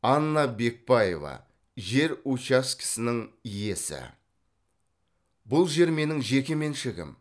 анна бекбаева жер учаскесінің иесі бұл жер менің жеке меншігім